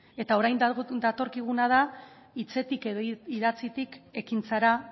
eta orain datorkiguna da hitzetik edo idatzitik ekintzara